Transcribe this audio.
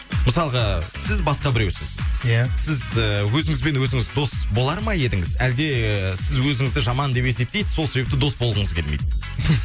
мысалға сіз басқа біреусіз иә сіз ііі өзіңізбен өзіңіз дос болар ма едіңіз әлде сіз өзіңізді жаман деп есептейсіз сол себепті дос болғыңыз келмейді